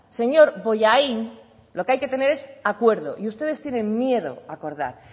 señor bollain lo que hay que tener es acuerdo y ustedes tienen miedo a acordar